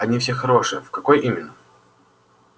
они все хорошие в какой именно